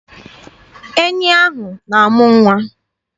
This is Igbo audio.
Enyi ahụ na-amụ nwa.